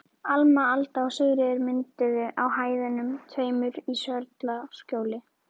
Alma, Alda og Sigríður mynduðu á hæðunum tveimur í Sörlaskjóli.